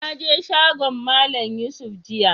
Na je shagon Mallam Yusuf jiya.